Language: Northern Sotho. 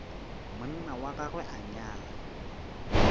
monna wa gagwe a nyala